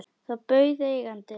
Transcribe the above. Þá bauð eigandi